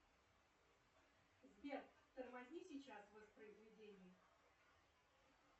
сбер тормозни сейчас воспроизведение